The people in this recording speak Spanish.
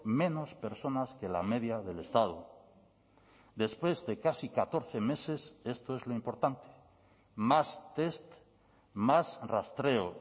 menos personas que la media del estado después de casi catorce meses esto es lo importante más test más rastreo